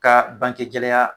Ka banke gɛlɛya